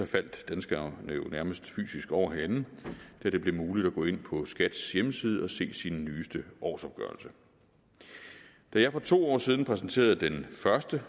faldt danskerne jo nærmest fysisk over hinanden da det blev muligt at gå ind på skats hjemmeside og se sin nyeste årsopgørelse da jeg for to år siden præsenterede den første